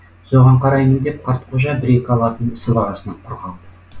соған қараймын деп қартқожа бір екі алатын сыбағасынан құр қалды